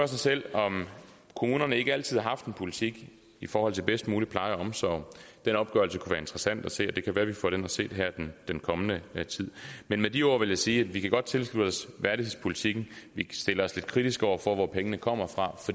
sig selv om kommunerne ikke altid har haft en politik i forhold til bedst mulig pleje og omsorg den opgørelse kunne være interessant at se og det kan være vi får den at se den kommende tid med de ord vil jeg sige at vi godt kan tilslutte os værdighedspolitikken vi stiller os lidt kritiske over for hvor pengene kommer fra